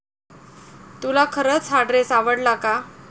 तुला खरच हा ड्रेस आवडला का?